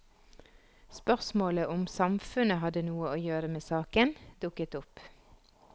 Spørsmålet om samfunnet hadde noe å gjøre med saken, dukket opp.